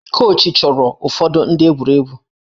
Kochị chụrụ ụfọdụ ndị egwuregwu